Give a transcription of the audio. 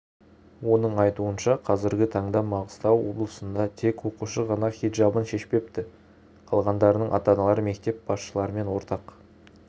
оның айтуынша қазіргі таңда маңғыстау облысында тек оқушы ғана хиджабын шешпепті қалғандарының ата-аналары мектеп басшыларымен ортақ